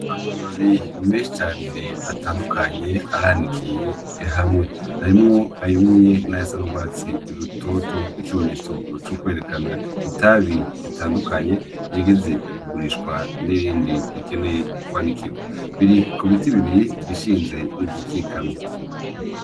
Amababi menshi cane atandukanye aranikiye hamwe, harimwo ayumye nayasa n' ugwatsi rutoto nikimenyetso cukwerekana itabi ritandukanye irigeze kugurishwa n' irindi rikeneye kwanikigwa biri kubiti bibiri igishinze nigikikamye